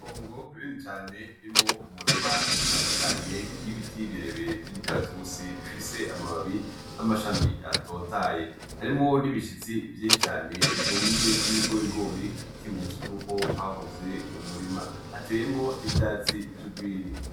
Itongo rinini cane ririmwo umurima itandukanye y'ibiti birebire vy'imikaratusi bifise amababi n'amashami atotahaye, harimwo n'ibishitsi vyinshi cane vyumye vy'ibigorigori vy'ikimenyetso yuko hahoze umurima, hateyemwo n'ivyatsi vy'ugwiri.